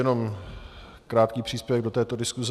Jenom krátký příspěvek do této diskuse.